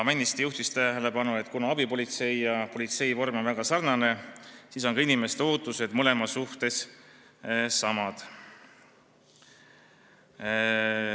Männiste juhtis tähelepanu, et kuna abipolitseivorm ja politseivorm on väga sarnased, siis on ka inimeste ootused mõlema suhtes samad.